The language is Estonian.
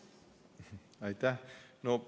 Aitäh!